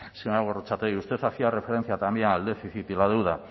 señora gorrotxategi usted hacía referencia también al déficit y la deuda